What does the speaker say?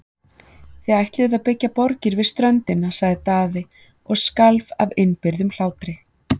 Þið ætluðuð að byggja borgir við ströndina, sagði Daði og skalf af innibyrgðum hlátri.